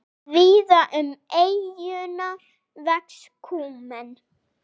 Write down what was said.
Víða um eyjuna vex kúmen.